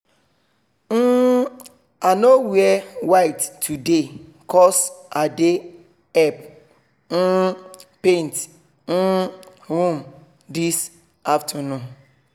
um i no wear white today cos i dey help um paint um room this afternoon